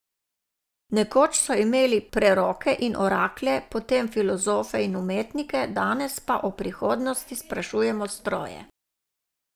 Nekoč so imeli preroke in oraklje, potem filozofe in umetnike, danes pa o prihodnosti sprašujemo stroje.